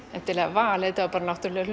val heldur náttúrulegur